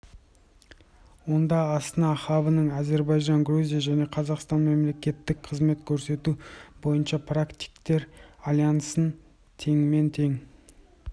онда астана хабының әзірбайжан грузия және қазақстанның мемлекеттік қызмет көрсету бойынша практиктер альянсын теңмен тең